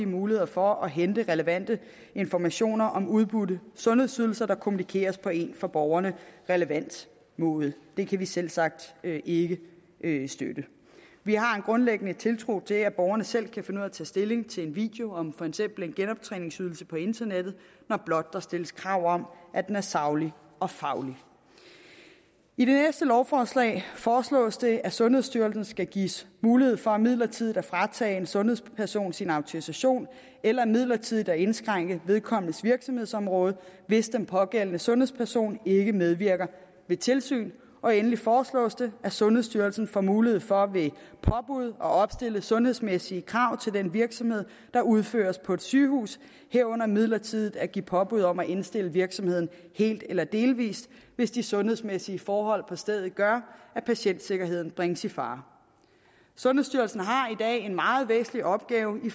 muligheder for at hente relevante informationer om udbudte sundhedsydelser der kommunikeres på en for borgerne relevant måde det kan vi selvsagt ikke ikke støtte vi har en grundlæggende tiltro til at borgerne selv kan finde at tage stilling til en video om for eksempel en genoptræningsydelse på internettet når blot der stilles krav om at den er saglig og faglig i det næste lovforslag foreslås det at sundhedsstyrelsen skal gives mulighed for midlertidigt at fratage en sundhedsperson sin autorisation eller midlertidigt at indskrænke vedkommendes virksomhedsområde hvis den pågældende sundhedsperson ikke medvirker ved tilsyn og endelig foreslås det at sundhedsstyrelsen får mulighed for ved påbud at opstille sundhedsmæssige krav til den virksomhed der udføres på et sygehus herunder midlertidigt at give påbud om at indstille virksomheden helt eller delvis hvis de sundhedsmæssige forhold på stedet gør at patientsikkerheden bringes i fare sundhedsstyrelsen har i dag en meget væsentlig opgave i